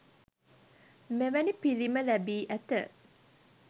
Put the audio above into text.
මෙවැනි පිළිම ලැබී ඇත.